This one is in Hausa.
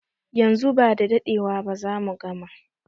Yanzu ba dadewa zamu gama